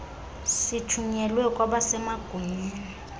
sithunyelwe kwabase magunyeni